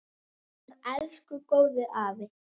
Okkar elsku góði afi!